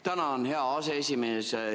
Tänan, hea aseesimees!